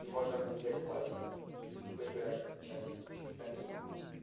и можно будет взять классик и поиграть хоть часик ещё томим